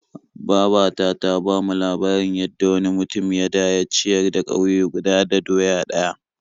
Baba ta ta bamu labarin yadda wani mutum ya da ya ciyar da ƙauye guda da doya ɗaya.